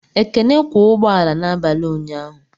Ekene kwọ ụgbọala n'abalị ụnyaahụ